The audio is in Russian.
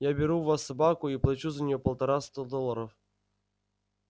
я беру у вас собаку и плачу за неё полтораста долларов